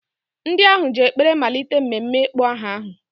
Ndị ahụ ji ekpere malite mmemme ịkpọ aha ahụ.